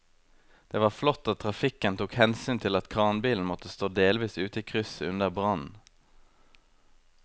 Det var flott at trafikken tok hensyn til at kranbilen måtte stå delvis ute i krysset under brannen.